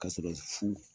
Ka sɔrɔ fu